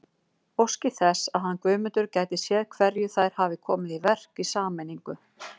Óski þess að hann Guðmundur gæti séð hverju þær hafi komið í verk í sameiningu.